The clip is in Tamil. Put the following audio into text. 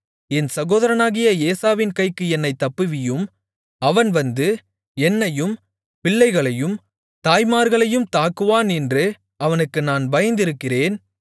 என் சகோதரனாகிய ஏசாவின் கைக்கு என்னைத் தப்புவியும் அவன் வந்து என்னையும் பிள்ளைகளையும் தாய்மார்களையும் தாக்குவான் என்று அவனுக்கு நான் பயந்திருக்கிறேன்